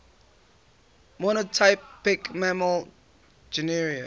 monotypic mammal genera